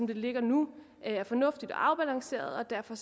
ligger nu er fornuftig og afbalanceret og derfor